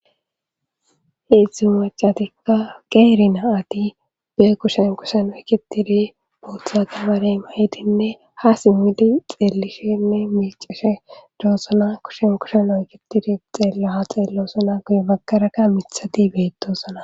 hiidzdzu macatikka qeeri naati be kushen kushen oykitiri botha gabarey mayidinne ha simmidi xeelishenne miicishe doossana kushen kushen oykitiri xeella ha xeelloosona guye baggaraka mithati beettosana